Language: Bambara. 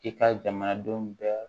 I ka jamanadenw bɛɛ